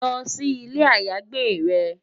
Lò si ilé àyágbé rè